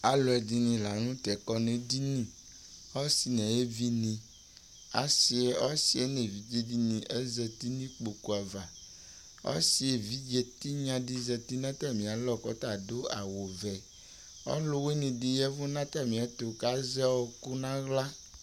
Alʋɛdɩnɩ la nʋtɛ kɔ n'edini : asɩ n'ayevinɩ asɩ ɔsɩɛ n'evidzedɩnɩ azati n'ikpoku ava Ɔsɩ evidze tɩnyadɩ zati n'atamɩ alɔ k'ɔta adʋ awʋvɛ Ɔlʋwɩnɩdɩ yɛvʋ n'atamɩɛtʋ k'azɛ ɔɔkʋ n'aɣla